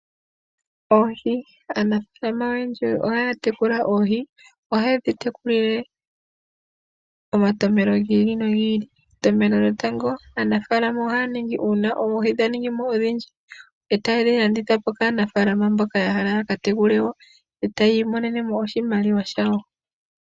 Oohi, aanafaalama oyendji ohaya tekula oohi, ohaye dhi tekulile omatompelo giili nogiili. Entompelo lyotango aanafaalama ohaya ningi uuna oohi dha ningi odhindji, e taye dhi landitha po kaanafaalama mboka ya hala yaka tekule woo itaya imonene oshimaliwa shawo.